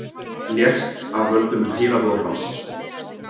Lést af völdum heilablóðfalls